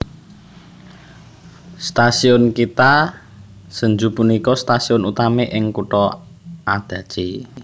Stasiun Kita Senju punika stasiun utami ing kutha Adachi